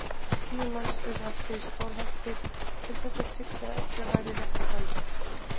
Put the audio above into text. Tíu manns urðu eftir í Skálholti til þess að tryggja að öllu væri rétt framfylgt.